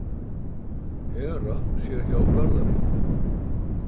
Hera sé hjá Garðari.